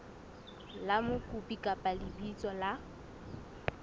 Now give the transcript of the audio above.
la mokopi kapa lebitso la